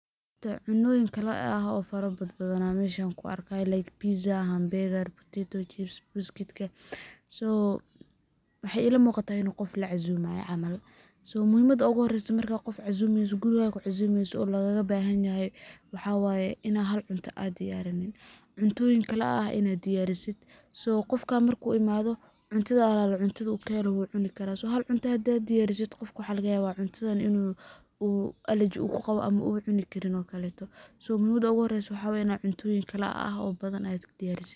Cunoyin kalaeh oo fara badhan an meshan kuarkihay pizza, hambuger, tito chips, biscuitka, so waxay ila muqatah ina qof lacuzamayo camal, so muhimada uguhoreyso marka qof cazumeyso, guriga kucazumeyso oo lagalabahanyahay waxaa waye inaa cuntoyin kala aah inaa diyarisid, so qofka marku uu imadho cuntadu alala cuntadu kahelo uu cunayaa, hal cunto hadaa diyarisid waxaa lagayaba qofka cuntadas in uu alaji uu kuqawo, uu cuni karin oo kaleto, so muhimada uguhore waxaa waye cuntoyin kala e eeh badhan in ad diyarisid.